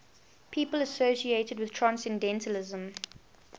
people associated with transcendentalism